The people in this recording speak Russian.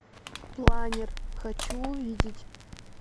планер хочу увидеть